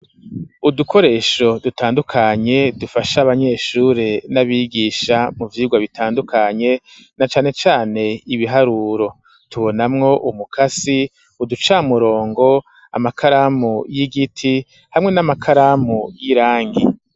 Udukoresho dutandukanye dufasha abanyeshure n'abigisha mu vyigwa bitandukanye na cane cane ibiharuro tubonamwo umukasi uducamurongo amakaramu y'igiti hamwe n'amakaramu y'irangi.